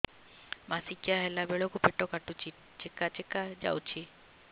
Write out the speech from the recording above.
ମାସିକିଆ ହେଲା ବେଳକୁ ପେଟ କାଟୁଚି ଚେକା ଚେକା ଯାଉଚି